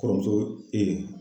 Kɔrɔmuso